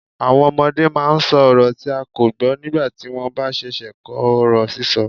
Àwọn ọmọdé máa ń sọ ọrọ tí a kò gbọ́ nígbà tí wọ́n bá ṣẹ̀ṣẹ̀ ń kọ́ ọ̀rọ̀ sísọ.